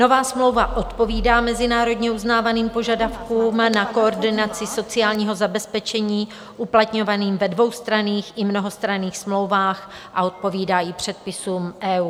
Nová smlouva odpovídá mezinárodně uznávaným požadavkům na koordinaci sociálního zabezpečení, uplatňovaným ve dvoustranných i mnohostranných smlouvách, a odpovídá i předpisům EU.